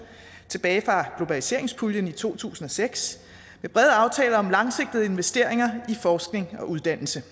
tilbage fra globaliseringspuljen i to tusind og seks med brede aftaler om langsigtede investeringer i forskning og uddannelse